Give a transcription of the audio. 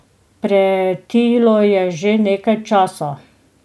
Pretilo je že nekaj časa.